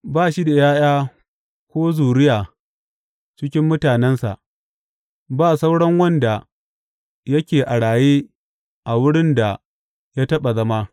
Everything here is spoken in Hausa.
Ba shi da ’ya’ya ko zuriya cikin mutanensa, ba sauran wanda yake a raye a wurin da ya taɓa zama.